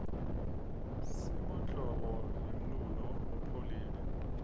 simemltlobo yemlulo lopholile